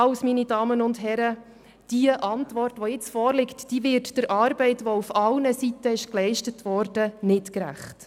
Die Antwort, meine Damen und Herren, die jetzt vorliegt, wird der Arbeit, die auf allen Seiten geleistet worden ist, nicht gerecht.